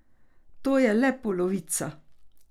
To je le polovica.